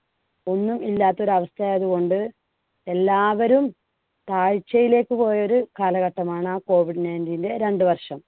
ഒന്നുമില്ലാത്ത ഒരു അവസ്ഥ ആയതുകൊണ്ട് എല്ലാവരും താഴ്ചയിലേക്ക് പോയ ഒരു കാലഘട്ടമാണ് ആ COVID nineteen ന്‍ടെ രണ്ടുവർഷം